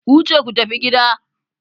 Ku wuce ku tafi gida!